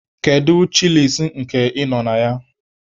Kedu chịlịs nke ị nọ na ya?